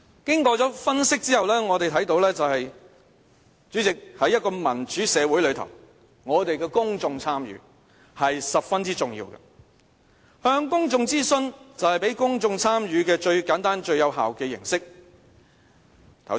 經過分析後，主席，我們看到在一個民主社會中，公眾參與十分重要，向公眾諮詢就是讓公眾參與最簡單和最有效的形式。